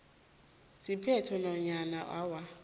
siphethophekghu nanyana awa